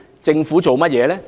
政府做了甚麼呢？